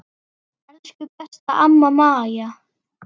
Elsku besta amma Maja.